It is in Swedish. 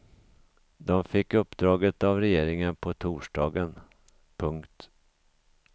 De fick uppdraget av regeringen på torsdagen. punkt